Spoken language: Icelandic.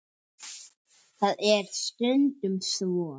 Það er stundum svo.